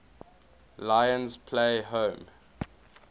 lions play home